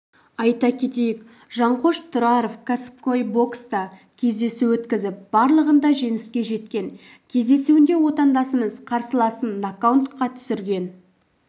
айта кетейік жанқош тұраров кәсіпқой бокста кездесу өткізіп барлығында жеңіске жеткен кездесуінде отандасымыз қарсыласын нокаутқа түсірген